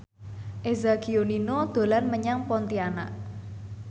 Eza Gionino dolan menyang Pontianak